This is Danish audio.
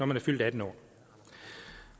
man er fyldt atten år